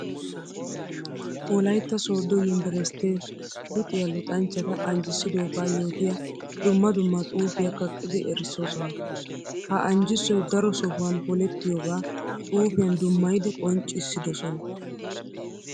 Wolaytta soodo yunbburstte luxiya luxanchchatta anjjisiddoga yootiya dumma dumma xuufiya kaqqiddi erisossonna. Ha anjjissoy daro sohuwan polettiyooga xuufiyan dummayiddi qonccissidosonna.